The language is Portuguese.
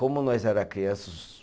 Como nós era criança os